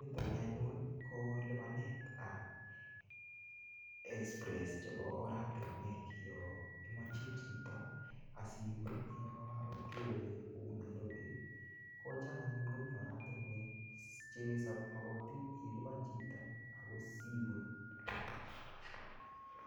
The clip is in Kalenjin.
Niton ni anyun ko lipanet ab express chebo oratinwek yon imoche chito asibun yon kewe kou Nairobi kocham anyun komi oratinwek che mogotin ilipan chito ago sibun.